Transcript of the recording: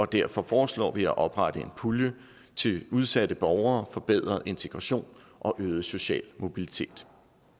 derfor foreslår vi at oprette en pulje til udsatte borgere forbedret integration og øget social mobilitet